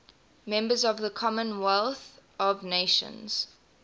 members of the commonwealth of nations